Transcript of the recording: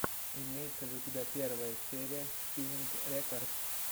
имеется ли у тебя первая серия спиннинг рекордс